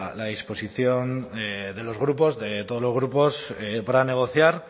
la disposición de los grupos de todos los grupos para negociar